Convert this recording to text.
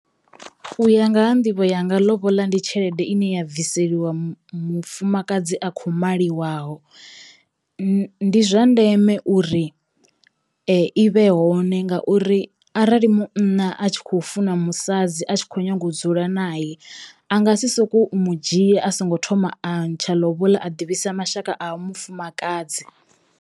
U ya nga ha nḓivho yanga ḽoboḽa ndi tshelede ine ya bviseliwa mu mufumakadzi a kho maliwaho. N ndi zwa ndeme uri i vhe hone ngauri arali munna a tshi kho funa musadzi a tshi kho nyaga u dzula nae a nga si sokou mu dzhia a songo thoma a ntsha ḽoboḽa a ḓivhisa mashaka a ha mufumakadzi.